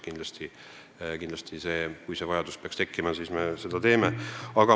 Kui selleks peaks tekkima vajadus, siis me seda kindlasti teeme.